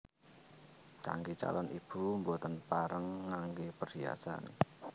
Kanggè calon ibu boten pareng nganggè perhiasan